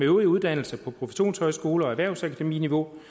øvrige uddannelser på professionshøjskole og erhvervsakademiniveau